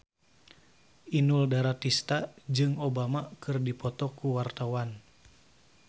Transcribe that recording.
Inul Daratista jeung Obama keur dipoto ku wartawan